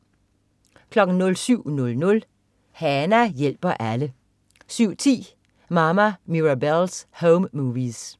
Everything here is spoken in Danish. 07.00 Hana hjælper alle 07.10 Mama Mirabelle's Home Movies